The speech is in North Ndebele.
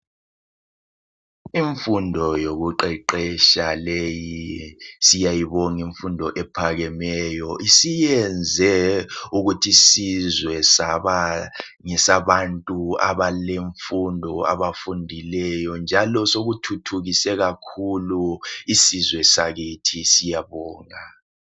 Imfundo yokuqeqetsha leyi siyayibonga imfundo ephakemeyo isiyenze ukuthi isizwe saba ngesabantu abalemfundo abafundileyo njalo sokuthuthukise kakhulu isizwe sakithi syabonga.